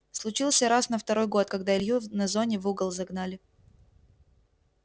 случился раз на второй год когда илью на зоне в угол загнали